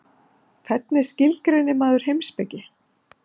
hvernig skilgreinir maður heimspeki